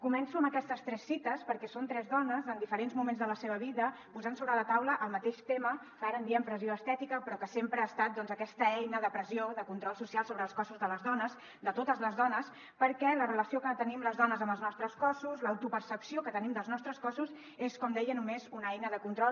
començo amb aquestes tres cites perquè són tres dones en diferents moments de la seva vida posant sobre la taula el mateix tema que ara en diem pressió estètica però que sempre ha estat doncs aquesta eina de pressió de control social sobre els cossos de les dones de totes les dones perquè la relació que tenim les dones amb els nostres cossos l’autopercepció que tenim dels nostres cossos és com deia només una eina de control